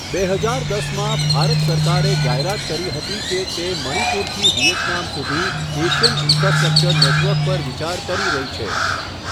બે હજાર દસમાં, ભારત સરકારે જાહેરાત કરી હતી કે તે મણિપુરથી વિયેતનામ સુધી એશિયન ઈન્ફ્રાસ્ટ્રક્ચર નેટવર્ક પર વિચાર કરી રહી છે.